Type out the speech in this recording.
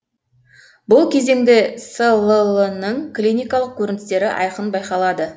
бұл кезеңде слл ның клиникалық көріністері айқын байқалады